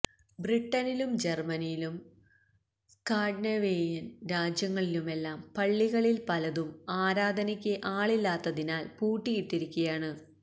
ബ്രിട്ടനിലും ജർമ്മനിയിലും സ്കാൻഡനേവിയൻ രാജ്യങ്ങളിലുമെല്ലാം പള്ളികളിൽ പലതും ആരാധനക്ക് ആളില്ലാത്തതിനാൽ പൂട്ടിയിട്ടിരിക്കയാണ്